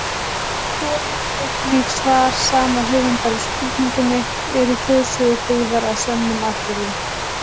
Skoðið einnig svar sama höfundar við spurningunni Eru þjóðsögur byggðar á sönnum atburðum?